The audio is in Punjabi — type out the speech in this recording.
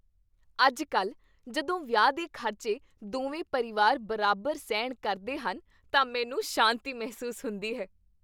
ਅੱਜ ਕੱਲ੍ਹ ਜਦੋਂ ਵਿਆਹ ਦੇ ਖ਼ਰਚੇ ਦੋਵੇਂ ਪਰਿਵਾਰ ਬਰਾਬਰ ਸਹਿਣ ਕਰਦੇ ਹਨ ਤਾਂ ਮੈਨੂੰ ਸ਼ਾਂਤੀ ਮਹਿਸੂਸ ਹੁੰਦੀ ਹੈ